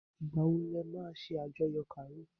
Ìgbà wọn le ma ṣe àjọyọ̀ Karo?